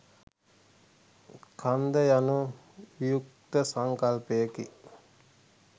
කන්ද යනු වියුක්ත සංකල්පයකි